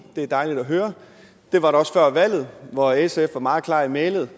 det er dejligt at høre det var der også før valget hvor sf var meget klar i mælet